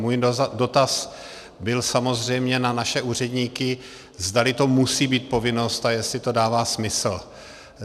Můj dotaz byl samozřejmě na naše úředníky, zdali to musí být povinnost a jestli to dává smysl.